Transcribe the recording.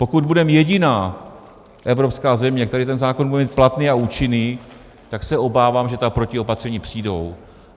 Pokud budeme jediná evropská země, která ten zákon bude mít platný a účinný, tak se obávám, že ta protiopatření přijdou.